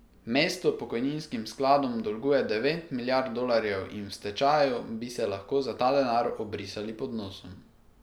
Mesto pokojninskim skladom dolguje devet milijard dolarjev in v stečaju bi se lahko za ta denar obrisali pod nosom.